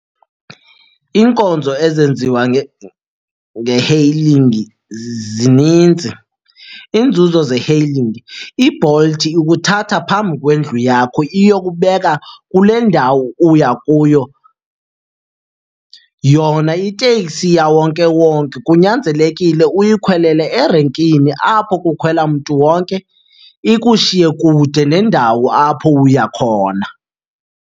Iinkonzo ezenziwa nge-hailing zininzi. Iinzuzo ze-hailing, iBolt ikuthatha phambi kwendlu yakho iyokubeka kule ndawo uya kuyo. Yona iteksi yawonkewonke kunyanzelekile uyikhwelele erenkini apho kukhwela mntu wonke, ikushiye kude nendawo apho uya khona.